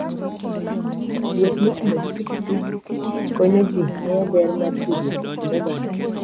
Wuoth mitimo gi pikipiki konyo ji ng'eyo ber mar tudruok e kind oganda.